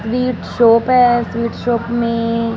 ये एक शॉप है स्वीट शॉप में--